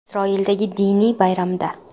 Isroildagi diniy bayramda.